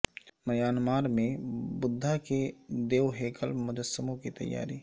Myanmar میں بدھا کے دیو ہیکل مجسموں کی تیاری